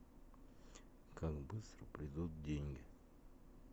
как быстро придут деньги